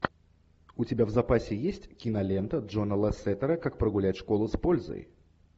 у тебя в запасе есть кинолента джона лассетера как прогулять школу с пользой